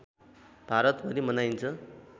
भारतभरि मनाइन्छ